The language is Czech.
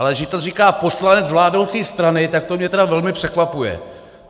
Ale že to říká poslanec vládnoucí strany, tak to mě tedy velmi překvapuje.